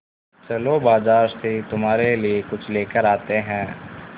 चलो बाज़ार से तुम्हारे लिए कुछ लेकर आते हैं